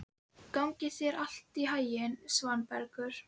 Gangi þér allt í haginn, Svanbergur.